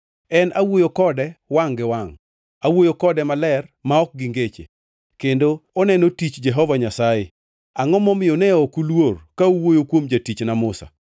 En awuoyo kode wangʼ gi wangʼ, awuoyo kode maler ma ok gi ngeche; kendo oneno tich Jehova Nyasaye. Angʼo momiyo ne ok uluor ka uwuoyo kuom jatichna Musa?”